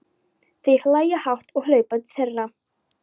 Þeir hlæja hátt og hlaupa til þeirra.